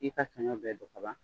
I y'i ka sanɲɔ bɛɛ don ka ban